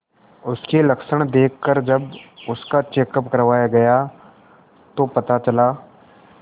उसके लक्षण देखकरजब उसका चेकअप करवाया गया तो पता चला